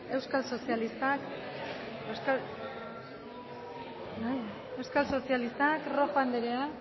euskal sozialistak rojo anderea